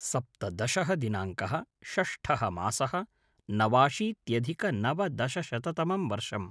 सप्तदशः दिनाङ्कः - षष्ठः मासः - नवाशीत्यधिकनवदशशततमं वर्षम्